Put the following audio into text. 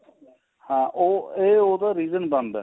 ਹਾਂ ਉਹ ਇਹ ਉਹਦਾ region ਬਣਦਾ